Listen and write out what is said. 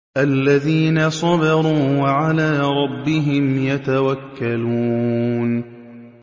الَّذِينَ صَبَرُوا وَعَلَىٰ رَبِّهِمْ يَتَوَكَّلُونَ